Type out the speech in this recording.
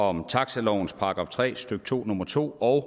om taxilovens § tre stykke to nummer to og